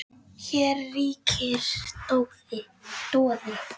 Hér ríkir doði.